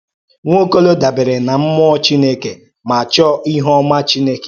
Nwaọ́kò̩ló̩ dàbèrè n’Mmụọ Chineke ma chọ̀ọ́ íhù́ọ́má Chineke.